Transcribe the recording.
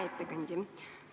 Hea ettekandja!